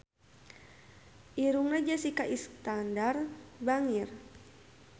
Irungna Jessica Iskandar bangir